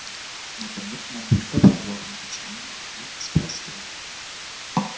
наконец мамулька прервала молчание и спросила